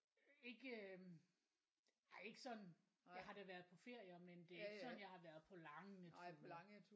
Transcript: Ikke øh nej ikke sådan jeg har da været på ferier men det er ikke sådan jeg har været på lange ture